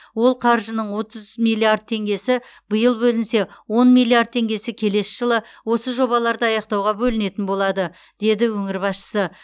ол қаржының отыз миллиард теңгесі биыл бөлінсе он миллиард теңгесі келесі жылы осы жобаларды аяқтауға бөлінетін болады деді өңір басшысы